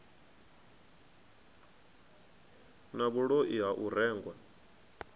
na vhuloi ha u rengwa